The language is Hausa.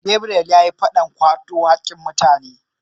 Gabriel yayi fadan kwato hakkin mutane